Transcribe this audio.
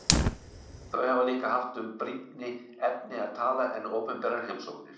Þau hafi líka haft um brýnni efni að tala en opinberar heimsóknir.